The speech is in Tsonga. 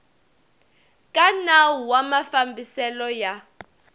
ka nawu wa mafambiselo ya